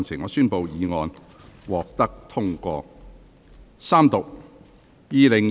我宣布議案獲得通過。